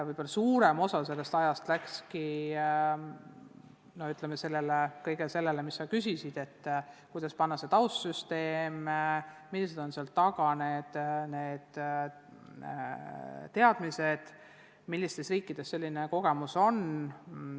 Võib-olla suurem osa nende ajast läkski sellele, mille kohta sa küsisid: kuidas panna paika taustsüsteem, millised on asjaomased teadmised, millistes riikides sellised kogemused on.